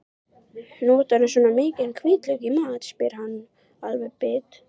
Notarðu svona mikinn hvítlauk í mat, spyr hann alveg bit.